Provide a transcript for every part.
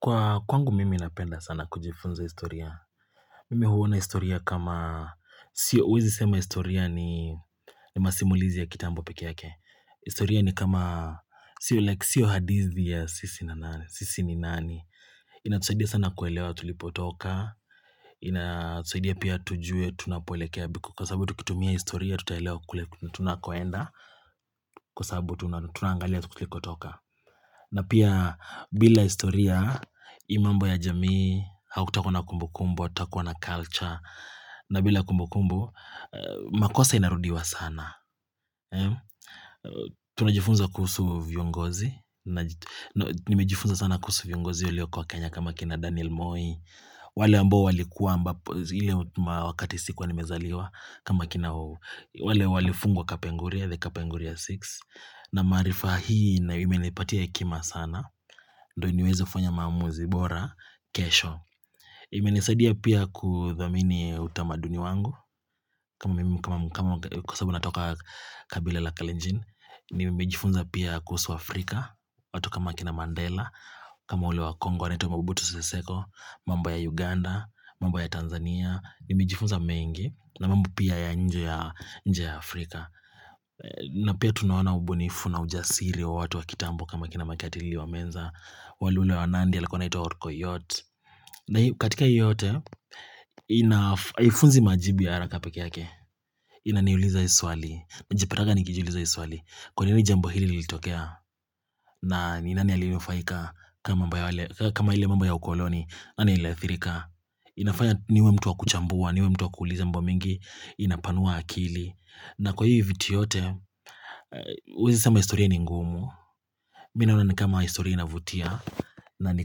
Kwa kwangu mimi inapenda sana kujifunza historia. Mimi huona historia kama, sio huwezi sema historia ni masimulizi ya kitambo peke yake. Historia ni kama, sio like, sio hadithi ya sisi na nani sisi ni nani. Inatusaidia sana kuelewa tulipotoka. Inatusaidia pia tujue tunapoelekea biku. Kwa sababu tukitumia historia tutaelewa kule tunakoenda. Kwa sababu tuna tunangalia tukuliko toka. Na pia bila historia, hii mambo ya jamii, hakutakua na kumbukumbu, hatatakua na culture, na bila kumbukumbu, makosa inarudiwa sana. Tunajifunza kuhusu vingozi, nimejifunza sana kuhusu viongozi waliokua Kenya kama kina Daniel Moi, wale ambo walikuwa amabapo, hile wakati sikuwa nimezaliwa kama kina uuu. Wale walifungwa kapenguria the kapenguria 6 na maarifa hii na imenipatia hekima sana ndio iniweze fanya maamuzi bora kesho imenisadia pia kuthamini utamaduni wangu mimi kama kama kwa sababu natoka kabila la kalenjin nimejifunza pia kuhusu Afrika watu kama kina Mandela kama wale wa Congo anaitwa mabubutu seseko mambo ya Uganda mambo ya Tanzania nimejifunza mengi na mamb pia ya nje ya nje ya Afrika na pia tunaona ubunifu na ujasiri wa watu wa kitambo kama kina mekatili wa menza wale ule wa nandi alikua anaitwa ito orkoitot na katika yote ina haifunzi majibu ya haraka peke yake Inaniuliza hii swali najipataga nikijiuliza hii swali Kwa nini jambo hili lilitokea na nini nani alinufaika kama mamba ya wale kama ile mambo ya ukoloni nani aliadhirka inafanya niwe mtu wa kuchambua niwe mtu wa kuuuliza mambo mengi inapanua akili na kwa hii viti yote huwezi sema historia ni ngumu mi naona ni kama historia inavutia na ni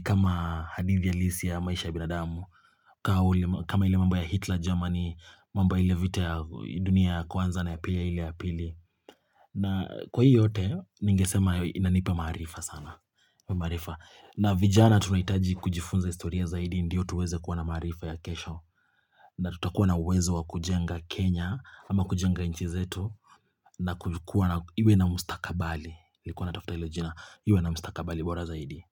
kama hadithi halisi ya maisha ya binadamu ka uli kama ile mambo ya Hitler, Germany mambo ile vita ya dunia ya kwanza na ya pili na kwa hii yote ningesema inanipa maarifa sana na vijana tunahitaji kujifunza historia zaidi ndiyo tuweze kua na maarifa ya kesho na tutakuwa na uwezo wa kujenga Kenya ama kujenga nchi zetu na kukua na iwe na mustakabali nilikuwa natafuta hilo jina iwe na mustakabali bora zaidi.